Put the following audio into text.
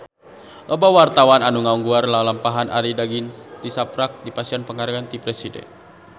Loba wartawan anu ngaguar lalampahan Arie Daginks tisaprak dipasihan panghargaan ti Presiden